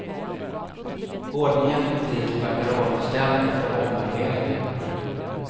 Ordningen i butiken verkar återställd efter ommöbleringen.